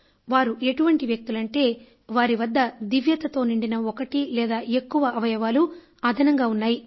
వారు ఎటువంటి వ్యక్తులంటే వారి వద్ద దివ్యతతో నిండిన ఒకటి లేదా ఎక్కువ అవయవాలు అదనంగా ఉన్నాయి